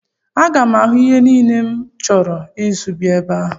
Aga m ahụ ihe niile m chọrọ ịzụ ebe ahụ?